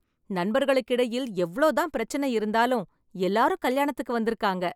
நண்பர்களுக்கிடையில் எவ்ளோ தான் பிரச்சனை இருந்தாலும் எல்லாரும் கல்யாணத்துக்கு வந்திருக்காங்க